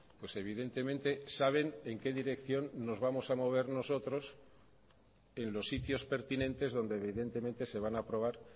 pues evidentemente saben en qué dirección nos vamos a mover nosotros en los sitios pertinentes donde evidentemente se van a aprobar